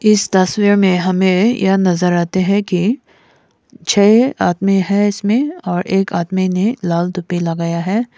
इस तस्वीर में हमें यह नजर आते हैं कि छह आदमी है इसमें और एक आदमी ने लाल तूपी लगाया है।